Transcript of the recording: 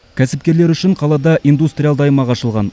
кәсіпкерлер үшін қалада индустриалды аймақ ашылған